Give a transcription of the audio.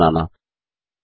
त्रिकोण बनाना